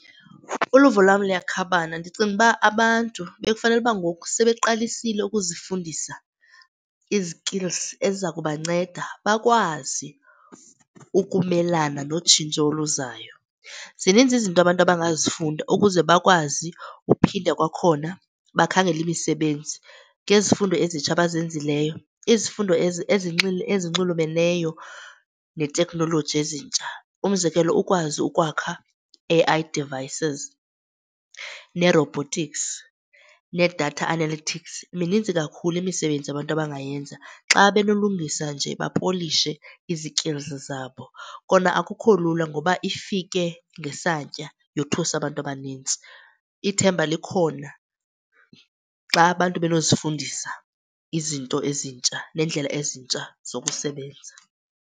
Uluvo lwam luyakhabana. Ndicinga uba abantu bekufanele ukuba ngoku sebeqalisile ukuzifundisa izikilzi eziza kubanceda bakwazi ukumelana notshintsho oluzayo. Zininzi izinto abantu abangazifunda ukuze bakwazi uphinde kwakhona bakhangele imisebenzi ngezifundo ezitsha abazenzileyo, izifundo ezi ezinxulumeneyo neeteknoloji ezintsha. Umzekelo, ukwazi ukwakha A_I devices, nee-robotics, nee-data analytics, mininzi kakhulu imisebenzi abantu abangayenza xa benolungisa nje bapolishe izikilzi zabo. Kona akukho lula ngoba ifike ngesantya yothusa abantu abanintsi. Ithemba likhona xa abantu benozifundisa izinto ezintsha neendlela ezintsha zokusebenza.